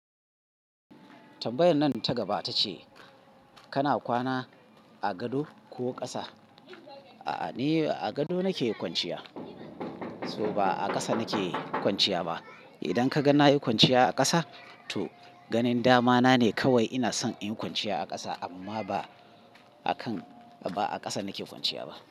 Tambayar nan ta gaba ta ce kana kwana a gado ko ƙasa? A'a, ni a gado nake kwanciya, so ba a ƙasa nake kwanciya ba. Idan ka ga na yi kwanciya a ƙasa, to ganin dama na ne kawai ina son in yi kwanciya a ƙasa amma ba a kan, ba a ƙasa nake kwanciya ba.